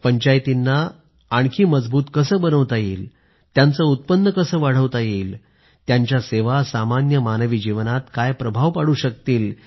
पंचायतींना कसं आणखी मजबूत बनवता येईल त्यांचं उत्पन्न कसं वाढवता येईल त्यांच्या सेवा सामान्य मानवी जीवनात काय प्रभाव टाकू शकतील